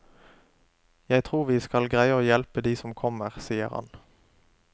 Jeg tror vi skal greie å hjelpe de som kommer, sier han.